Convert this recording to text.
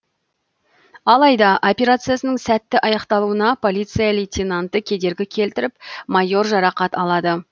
алайда операциясының сәтті аяқталуына полиция лейтенанты кедергі келтіріп майор жарақат алады